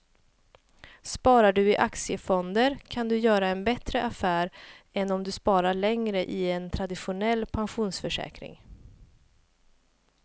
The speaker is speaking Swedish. Sparar du i aktiefonder kan du göra en bättre affär än om du sparar länge i en traditionell pensionsförsäkring.